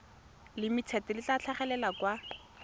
limited le tla tlhagelela kwa